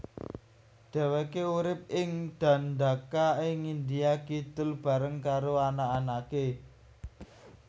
Dheweke urip ing Dandaka ing India Kidul bareng karo anak anake